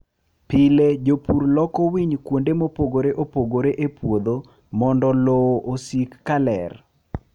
Pile jopur loko winy kuonde mopogore opogore e puodho mondo lowo osik ka ler.